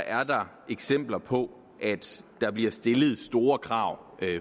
er der eksempler på at der bliver stillet store krav